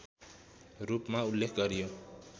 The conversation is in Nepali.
रूपमा उल्लेख गरियो